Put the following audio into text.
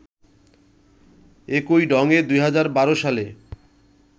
একই ঢঙে ২০১২ সালে